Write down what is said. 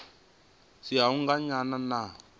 si ha u anganya na